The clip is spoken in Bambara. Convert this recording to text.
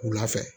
Wula fɛ